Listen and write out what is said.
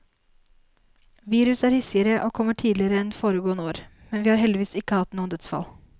Viruset er hissigere og kommer tidligere enn foregående år, men vi har heldigvis ikke hatt noen dødsfall.